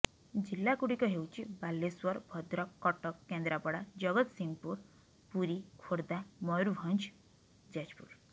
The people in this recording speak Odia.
ଜିଲ୍ଲାଗୁଡ଼ିକ ହେଉଛି ବାଲେଶ୍ୱର ଭଦ୍ରକ କଟକ କେନ୍ଦ୍ରାପଡ଼ା ଜଗସତିଂହପୁର ପୁରୀ ଖୋର୍ଦ୍ଧା ମୟୂରଭଞ୍ଜ ଯାଜପୁର